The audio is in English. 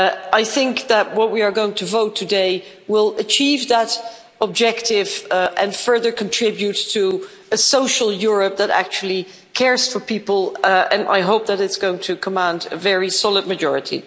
I think that what we are going to vote on today will achieve that objective and further contribute to a social Europe that actually cares for people, and I hope that it's going to command a very solid majority.